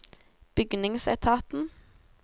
bygningsetaten